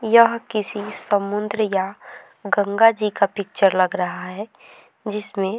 यह किसी समुद्र या गंगा जी का पिक्चर लग रहा है जिसमें --